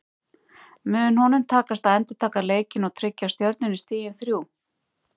Mun honum takast að endurtaka leikinn og tryggja Stjörnunni stigin þrjú?